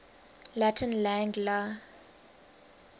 latin lang la